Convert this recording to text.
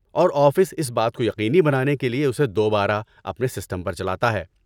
اور آفس اس بات کو یقینی بنانے کے لیے اسے دوبارہ اپنے سسٹم پر چلاتا ہے۔